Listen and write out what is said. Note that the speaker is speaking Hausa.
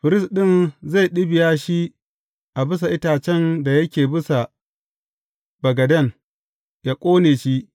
Firist ɗin zai ɗibiya shi a bisa itacen da yake bisa bagaden, yă ƙone shi.